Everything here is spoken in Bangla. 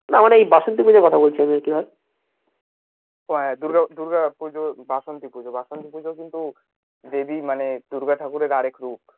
ও দূর্গা দূর্গা পূজো বাসন্তি পূজো, বাসন্তি পূজো কিন্তু দেবী মানে দূর্গা ঠাকুরের আর এক রূপ